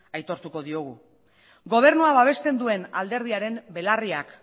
aitortuko diogu gobernua babesten duen alderdiaren belarriak